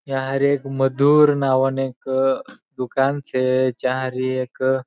यहाँ एक मधुर नाव न एक दुकान छे चहा री एक --